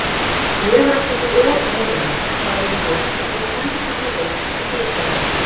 Ég var ekkert að ota neinu, sagði hún loks og dró hendurnar inn í peysuermarnar.